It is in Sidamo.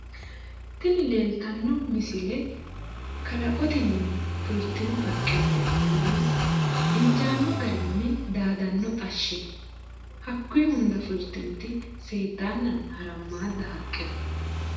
Tini leeltanno misile qalaqotenni fultino haqqe mereeroonni injaanno garinni daadaa xashshi no. Hakkuyi hunda fultinoti seeddaannanna harammaadda haqqe no.